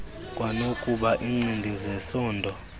kwanokuba iincindi zesondo